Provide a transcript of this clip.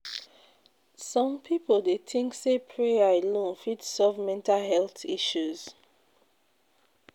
Some people dey think say prayer alone fit solve mental health issues.